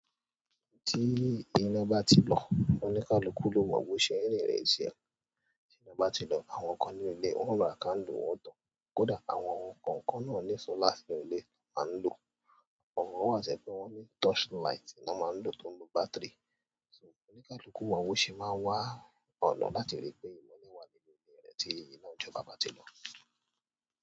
Tí iná bá ti lọ oníkálukú lo mọ bó ṣe ń rinrin ẹsẹ ẹ. Tí iná bá ti lọ àwọn kan ní ilé wọn onwa candle wọn o tán. Kódà àwọn kọ̀ọ̀kan náà ni solar sí inú ilé tan ń lò. Àwọn wà to jẹ pé wọ́n ní touch light na máa ń lò tó ń lo bátìrì. So oníkálukú wa ó ṣe máa wá ọ̀nà láti rí pé ìmọ́ní wà nínú ilé rẹ tí iná jọba bá ti lọ.